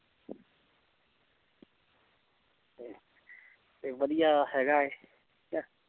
ਤੇ ਵਧੀਆ ਹੈਗਾ ਹੈ